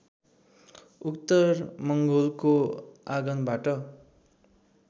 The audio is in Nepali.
उत्तर मङ्गोलको आगमनबाट